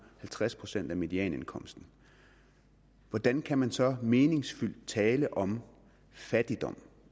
halvtreds procent af medianindkomsten hvordan kan man så meningsfyldt tale om fattigdom